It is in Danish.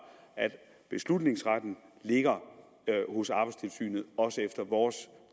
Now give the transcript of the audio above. beslutningsretten ligger hos arbejdstilsynet også efter vores